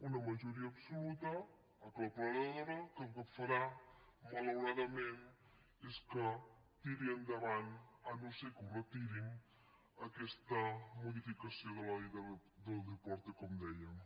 una majoria absoluta aclaparadora que el que fa·rà malauradament és que tiri endavant si no és que ho retiren aquesta modificació de la ley del deporte com dèiem